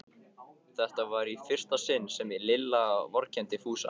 Þetta var í fyrsta sinn sem Lilla vorkenndi Fúsa.